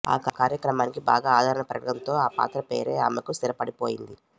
ఆ కార్యక్రమానికి బాగా ఆదరణ పెరగడంతో ఆ పాత్ర పేరే ఆమెకు స్థిరపడిపోయింది